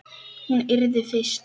Hún yrði fyrst.